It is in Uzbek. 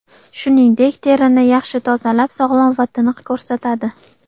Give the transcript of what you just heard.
Shuningdek, terini yaxshi tozalab, sog‘lom va tiniq ko‘rsatadi.